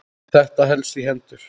Þetta helst í hendur.